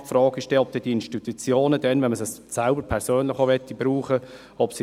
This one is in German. Die Frage stellt sich, ob diese Institutionen dann noch vorhanden sind, wenn man sie selber brauchen möchte.